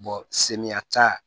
senyata